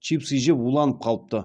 чипсы жеп уланып қалыпты